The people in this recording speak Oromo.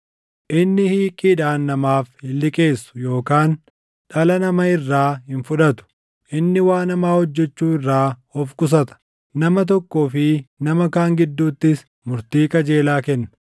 Inni hiiqiidhaan namaaf hin liqeessu yookaan dhala nama irraa hin fudhatu. Inni waan hamaa hojjechuu irraa of qusata; nama tokkoo fi nama kaan gidduuttis murtii qajeelaa kenna.